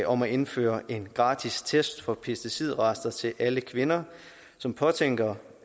om at indføre en gratis test for pesticidrester til alle kvinder som påtænker